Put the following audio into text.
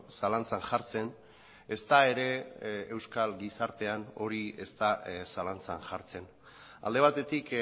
zalantzan jartzen ezta ere euskal gizartean hori ez da zalantzan jartzen alde batetik